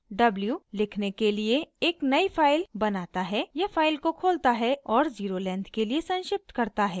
w = लिखने के लिए एक नयी फाइल बनाता है या फाइल को खोलता है और ज़ीरो लेंथ के लिए संक्षिप्त करता है